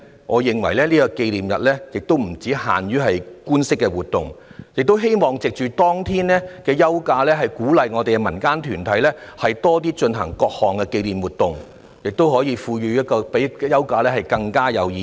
我認為紀念日不應只限於官式活動，也希望可以藉着當天的休假，鼓勵民間團體多舉辦各類型的紀念活動，從而賦予休假更深的意義。